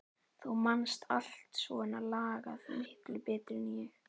Þú manst allt svona lagað miklu betur en ég.